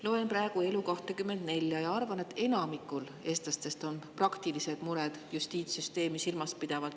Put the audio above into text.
Loen praegu Elu24 ja arvan, et enamikul eestlastest on justiitssüsteemi silmas pidavalt praktilised mured.